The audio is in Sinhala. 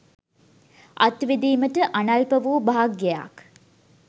අත්විඳීමට අනල්ප වූ භාග්‍යයක්